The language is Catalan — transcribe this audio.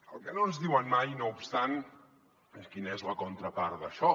el que no ens diuen mai no obstant és quina és la contrapart d’això